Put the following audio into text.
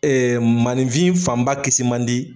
Ee maninfin fanba kisi man di.